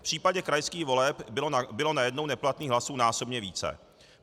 V případě krajských voleb bylo najednou neplatných hlasů násobně více.